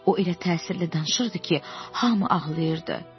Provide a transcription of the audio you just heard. O elə təsirli danışırdı ki, hamı ağlayırdı.